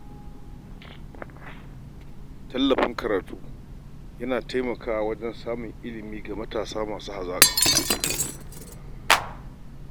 Tallafin karatu yana taimakawa wajen samar da ilimi ga matasa masu hazaka.